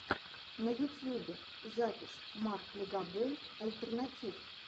на ютьюбе запись марк легобой альтернатив